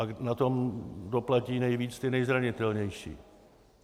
A na to doplatí nejvíc ti nejzranitelnější.